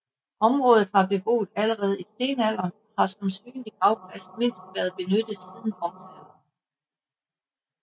Området var beboet allerede i stenalderen og har som synlig gravplads mindst været benyttet siden bronzealderen